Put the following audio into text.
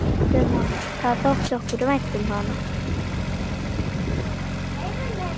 Það þótti okkur vænt um.